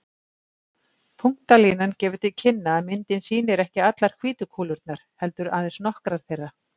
Punktalínan gefur til kynna að myndin sýnir ekki allar hvítu kúlurnar, heldur aðeins nokkrar þeirra.